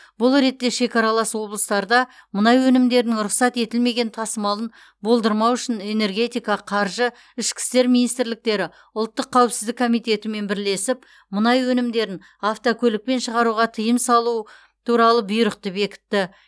бұл ретте шекаралас облыстарда мұнай өнімдерінің рұқсат етілмеген тасымалын болдырмау үшін энергетика қаржы ішкі істер министрліктері ұлттық қауіпсіздік комитетімен бірлесіп мұнай өнімдерін автокөлікпен шығаруға тыйым салу туралы бұйрықты бекітті